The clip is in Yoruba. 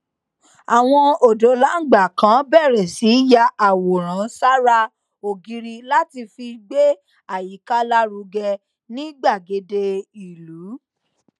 àwọn òdólangba kan bèrè sí ya àwòrán sára ògiri láti fi gbé àyíká lárugẹ ní gbàgede ìlú